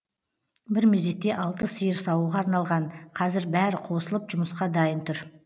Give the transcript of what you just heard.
бір мезетте алты сиыр саууға арналған қазір бәрі қосылып жұмысқа дайын тұр